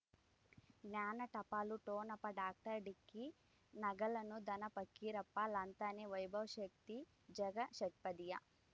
ಜ್ಞಾನ ಟಪಾಲು ಠೊಣಪ ಡಾಕ್ಟರ್ ಢಿಕ್ಕಿ ಣಗಳನು ಧನ ಫಕೀರಪ್ಪ ಳಂತಾನೆ ವೈಭವ್ ಶಕ್ತಿ ಝಗಾ ಷಟ್ಪದಿಯ